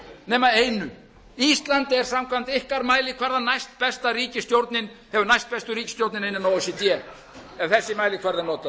nema einu ísland er samkvæmt ykkar mælikvarða næstbesta ríkisstjórnin hefur næstbestu ríkisstjórnina innan o e c d ef þessi mælikvarði